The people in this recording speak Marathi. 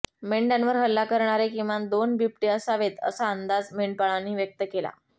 मेंढ्यांवर हल्ला करणारे किमान दोन बिबटे असावेत असा अंदाज मेंढपाळांनी व्यक्त केला